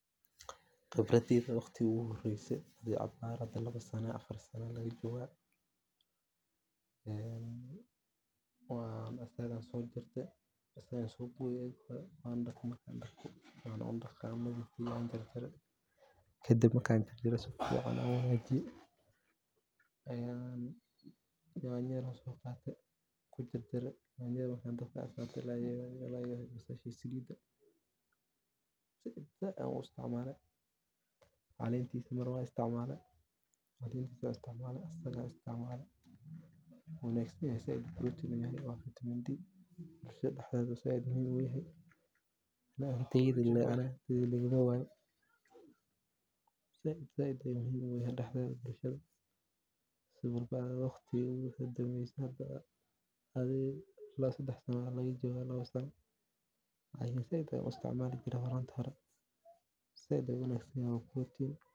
Khibradeyda waxa ku qiyasi karaa sanaad ila afaar sano aa lagajoga maeka waxey eheed arin mirihiisa waaweyn ee leh ur gaar ah oo xoog badan. Inkasta oo urta miraha doriyanka ay dad badan ka cawdaan, haddana waxaa jira kuwo kale oo si aad ah u jecel dhadhanka gaarka ah ee mirohooda leh. Miraha doriyanka waxay yihiin kuwo qodxo adag leh dushooda, halka gudaha laga helo